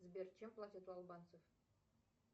сбер чем платят у албанцев